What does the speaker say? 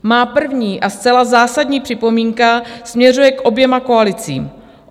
Má první a zcela zásadní připomínka směřuje k oběma koalicím.